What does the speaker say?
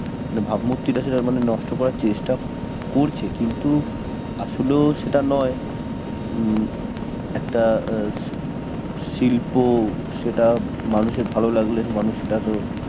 ভাবমূর্তি টা সেটা মানে নষ্ট করার চেষ্টা করছে কিন্তু আসলেও সেটা নয় উম একটা আহ শিল্প সেটা মানুষের ভালো লাগলে মানুষ সেটা তো